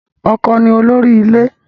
Ọkọ ni olórí ilé.